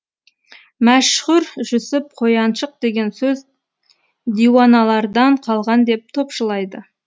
мәшһүр жүсіп қояншық деген сөз диуаналардан қалған деп топшылайды